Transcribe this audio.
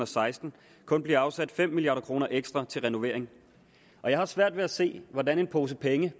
seksten kun blive afsat fem milliard kroner ekstra til renovering og jeg har svært ved at se hvordan en pose penge